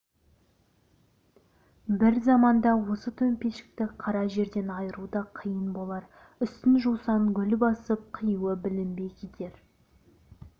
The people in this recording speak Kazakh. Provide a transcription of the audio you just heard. бір заманда осы төмпешікті қара жерден айыру да қиын болар үстін жусан-гүл басып қиюы білінбей кетер